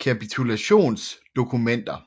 kapitulationsdokumenter